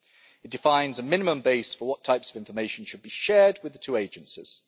It defines a minimum base for what types of information should be shared with the two agencies.